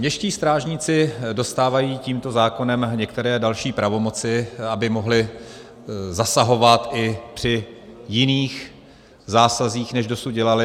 Městští strážníci dostávají tímto zákonem některé další pravomoci, aby mohli zasahovat i při jiných zásazích, než dosud dělali.